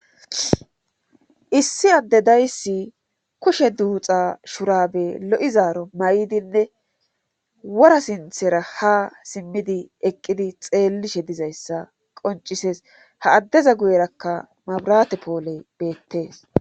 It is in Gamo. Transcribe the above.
Issi adde dayssi kushe duuxa shurabe lo7izaaro may7dinne wora sinthera ha simmidi eqqidi xeellishe dizayssa qoncisees ha addeza guyerakka mabirate poole beettees